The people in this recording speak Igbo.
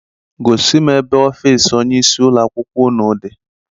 Gosi m ebe ọfịịsị onyeisi ụlọakwụkwọ unu dị!